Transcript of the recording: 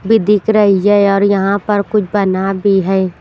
भी दिख रही है और यहाँ पर कुछ बना भी है।